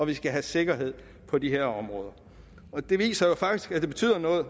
de skal have sikkerhed på de her områder og det viser jo faktisk at det betyder noget